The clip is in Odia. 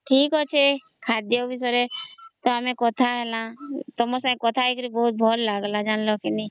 ଠିକ ଅଛି ଖାଦ୍ୟ ବିଷୟରେ ତା ଆମେ କଥା ହେଲା ତମର ସହିତ କଥା ହେଇକରି ଭଲ ଲାଗିଲା ଜାଣିଲା କି ନାଇଁ